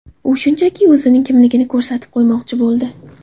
U shunchaki o‘zining kimligini ko‘rsatib qo‘ymoqchi bo‘ldi.